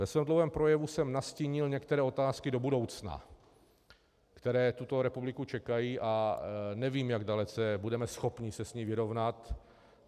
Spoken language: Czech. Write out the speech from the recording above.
Ve svém dlouhém projevu jsem nastínil některé otázky do budoucna, které tuto republiku čekají, a nevím, jak dalece budeme schopni se s tím vyrovnat.